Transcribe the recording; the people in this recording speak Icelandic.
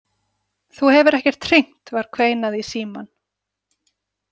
Þú hefur ekkert hringt, var kveinað í símann.